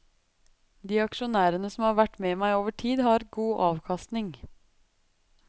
De aksjonærene som har vært med meg over tid, har hatt god avkastning.